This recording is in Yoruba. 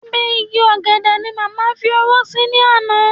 Abẹ́ igi ọ̀gẹ̀dẹ̀ ni màmá fi owó sí ní àná